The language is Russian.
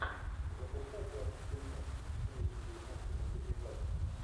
запускай классный фильмец в стилистике японской мультипликации